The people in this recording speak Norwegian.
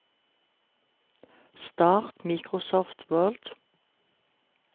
start Microsoft Word